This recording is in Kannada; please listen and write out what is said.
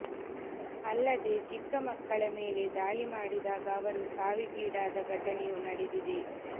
ಅಲ್ಲದೇ ಚಿಕ್ಕ ಮಕ್ಕಳ ಮೇಲೆ ದಾಳಿ ಮಾಡಿದಾಗ ಅವರು ಸಾವಿಗೀಡಾದ ಘಟನೆಯೂ ನಡೆದಿದೆ